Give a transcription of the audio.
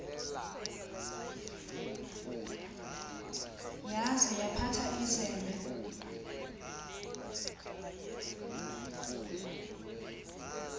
yaza yaphatha izembe